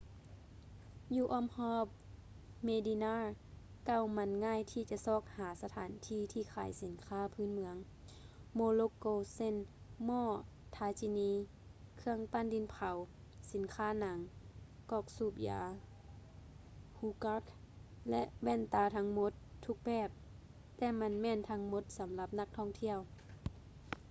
ຢູ່ອ້ອມຮອບ ເມດິນ່າ medina ເກົ່າມັນງ່າຍທີ່ຈະຊອກຫາສະຖານທີ່ທີ່ຂາຍສິນຄ້າພື້ນເມືອງ ໂມຣົກໂກ ເຊັ່ນ: ໝໍ້ ທາຈີນີ tagines ເຄື່ອງປັ້ນດິນເຜົາ ສິນຄ້າໜັງ ກອກສູບຢາ ຮູກາສ໌ hookahs ແລະ ແວ່ນຕາທັງໝົດທຸກແບບ ແຕ່ມັນແມ່ນທັງໝົດສຳລັບນັກທ່ອງທ່ຽວ